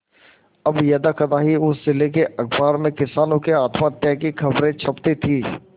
अब यदाकदा ही उस जिले के अखबार में किसानों के आत्महत्या की खबरें छपती थी